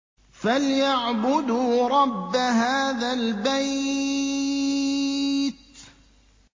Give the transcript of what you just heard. فَلْيَعْبُدُوا رَبَّ هَٰذَا الْبَيْتِ